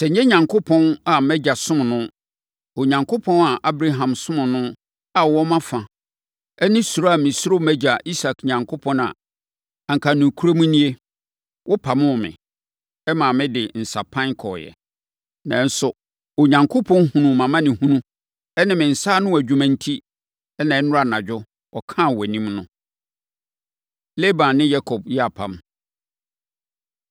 Sɛ ɛnyɛ Onyankopɔn a mʼagya somm no, Onyankopɔn a Abraham somm no a ɔwɔ mafa ne suro a mesuro mʼagya Isak a, anka nokorɛm nie, wopamoo me, maa mede me nsapan kɔeɛ. Nanso Onyankopɔn hunuu mʼamanehunu ne me nsa ano adwuma enti na nnora anadwo ɔkaa wʼanim no.” Laban Ne Yakob Yɛ Apam